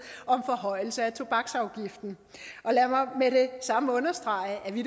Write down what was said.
om forhøjelse af tobaksafgiften lad mig med det samme understrege at vi